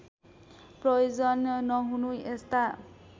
प्रयोजन नहुनु यस्ता